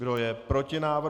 Kdo je proti návrhu?